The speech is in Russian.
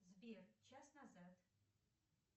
сбер час назад